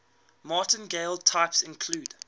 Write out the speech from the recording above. martingale types include